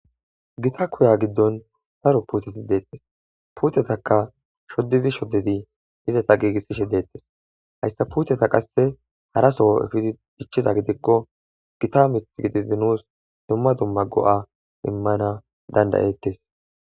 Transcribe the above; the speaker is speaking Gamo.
Gita koya giddon saro puteti deettes puutetaka shoddidi shoddidi izata giigissishe deettes hayssa puteta qasse haraso efidi dichchiza gidikko gita mix gidizi nuus dumma dumma go7a immana dandayettes.